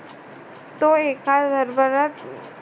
तो एका दरबारात